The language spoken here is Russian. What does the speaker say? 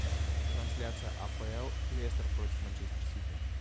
трансляция апл лестер против манчестер сити